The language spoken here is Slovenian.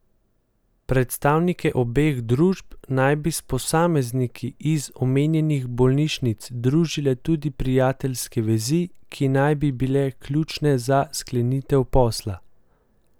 Predstavnike obeh družb naj bi s posamezniki iz omenjenih bolnišnic družile tudi prijateljske vezi, ki naj bi bile ključne za sklenitev posla.